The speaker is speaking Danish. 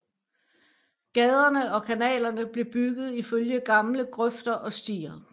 Gaderne og kanalerne blev bygget ifølge gamle grøfter og stier